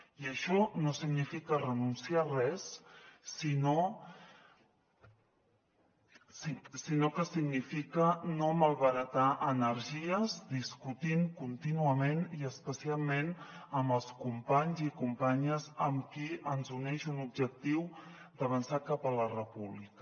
i això no significa renunciar a res sinó que significa no malbaratar energies discutint contínuament i especialment amb els companys i companyes amb qui ens uneix un objectiu d’avançar cap a la república